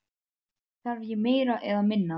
Þarf ég meira eða minna?